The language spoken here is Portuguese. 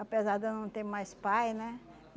Apesar de eu não ter mais pai, né?